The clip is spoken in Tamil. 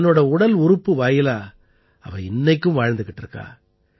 தன்னோட உடல் உறுப்பு வாயிலா அவ இன்னைக்கும் வாழ்ந்துக்கிட்டு இருக்கா